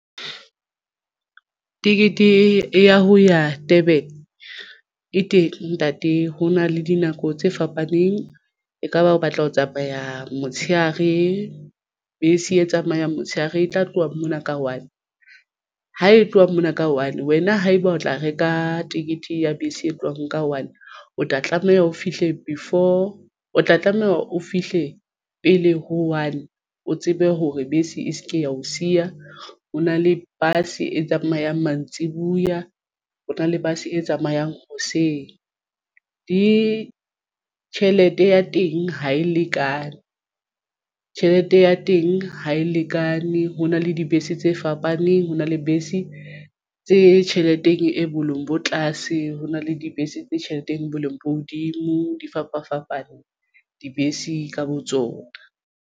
Tekete ya ho ya Durban e teng ntate ho na le dinako tse fapaneng ekaba o batla ho tsamaya motshehare bese e tsamayang motshehare e tla tloha mona ka one ha e tloha mona ka one. wena haeba o tla reka ticket ya bese e tlohang ka one o tla tlameha o fihle before o tla tlameha o fihle pele ho one o tsebe hore bese e se ke ya o siya. O na le bus e tsamayang mantsibuya o na le bus e tsamayang hoseng ditjhelete ya teng ha e lekane tjhelete ya teng ha e lekane. Ho na le dibese tse fapaneng ho na le bese tse tjheleteng e boleng bo tlase ho na le dibese tse tjheleteng e boleng bo hodimo di fapafapane dibese ka botsona.